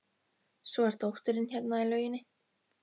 Svo er dóttirin hérna í lauginni.